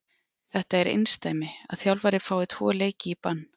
Þetta er einsdæmi að þjálfari fái tvo leiki í bann.